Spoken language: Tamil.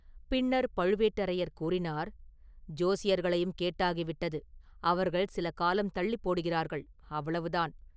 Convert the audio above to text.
பின்னர் பழுவேட்டரையர் கூறினார்: “ஜோசியர்களையும் கேட்டாகிவிட்டது அவர்கள் சில காலம் தள்ளிப் போடுகிறார்கள்; அவ்வளவுதான்.